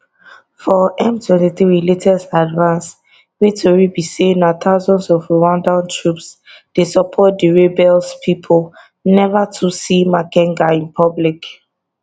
for m23 latest advance wey tori be say na thousands of rwandan troops dey support di rebels pipo neva too see makenga in public